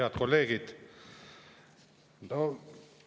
Head kolleegid!